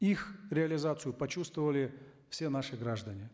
их реализацию почувствовали все наши граждане